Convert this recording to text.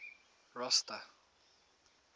rosta